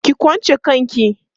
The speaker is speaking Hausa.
ki kwanche kanki!